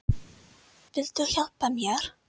Viltu hjálpa mér?